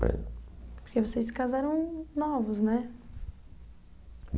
Compreende? Porque vocês se casaram novos, né?